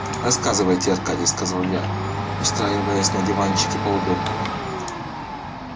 рассказывайте аркадий сказал я устраиваясь на диванчике поудобнее